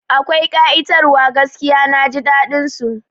Akwai ƙa'itar wa gaskiya, Naji daɗin su